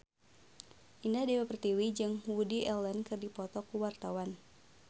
Indah Dewi Pertiwi jeung Woody Allen keur dipoto ku wartawan